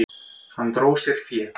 Hann dró sér fé.